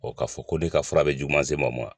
Ɔɔ ka fɔ ko ne ka fura be juguma se maa ma wa.